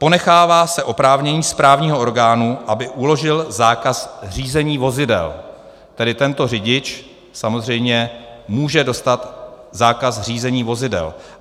Ponechává se oprávnění správního orgánu, aby uložil zákaz řízení vozidel, tedy tento řidič samozřejmě může dostat zákaz řízení vozidel.